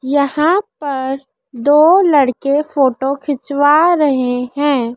यहां पर दो लड़के फोटो खिंचवा रहे है।